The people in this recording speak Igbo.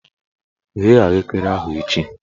Ghee ahụekere ahụ echi!